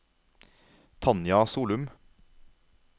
Tanja Solum